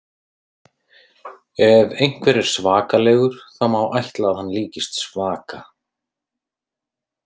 Ef einhver er svakalegur þá má ætla að hann líkist svaka.